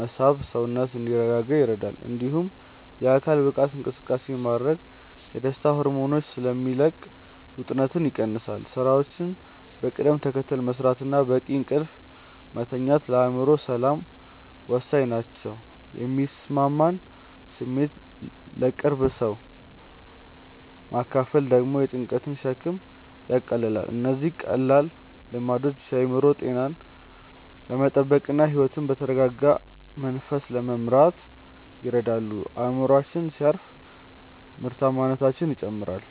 መሳብ ሰውነት እንዲረጋጋ ይረዳል። እንዲሁም የአካል ብቃት እንቅስቃሴ ማድረግ የደስታ ሆርሞኖችን ስለሚለቅ ውጥረትን ይቀንሳል። ሥራዎችን በቅደም ተከተል መሥራትና በቂ እንቅልፍ መተኛት ለአእምሮ ሰላም ወሳኝ ናቸው። የሚሰማንን ስሜት ለቅርብ ሰው ማካፈል ደግሞ የጭንቀትን ሸክም ያቃልላል። እነዚህ ቀላል ልምዶች የአእምሮ ጤናን ለመጠበቅና ሕይወትን በተረጋጋ መንፈስ ለመምራት ይረዳሉ። አእምሮአችን ሲያርፍ ምርታማነታችንም ይጨምራል።